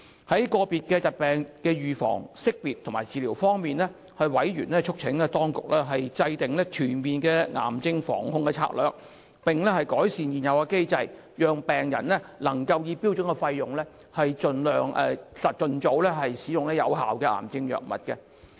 在個別疾病的預防、識別及治療方面，委員促請當局制訂全面的癌症防控策略，並改善現有機制，讓病人能夠以標準費用，盡早使用有效的癌症藥物。